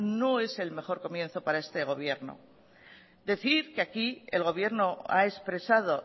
no es el mejor comienzo para este gobierno decir que aquí el gobierno ha expresado